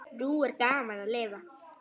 Nú er gaman að lifa!